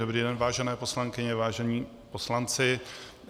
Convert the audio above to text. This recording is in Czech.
Dobrý den, vážené poslankyně, vážení poslanci.